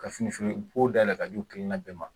Ka fini feere bon dayɛlɛ k'a di o kelen kelen na bɛɛ ma wa?